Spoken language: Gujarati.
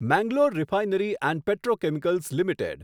Mangalore refinery and petrochemicals limited